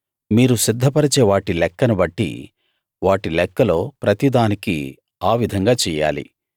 మీరు సిద్ధపరిచే వాటి లెక్కను బట్టి వాటి లెక్కలో ప్రతి దానికీ ఆ విధంగా చెయ్యాలి